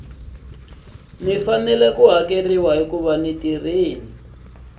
faneleke ku hakeriwa hi ku